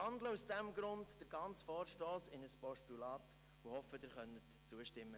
Ich wandle deshalb den gesamten Vorstoss in ein Postulat und hoffe, Sie können ihm zustimmen.